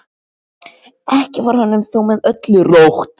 Ekki var honum þó með öllu rótt.